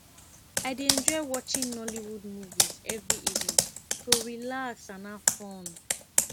i dey enjoy watching nollywood movies every evening to relax and have fun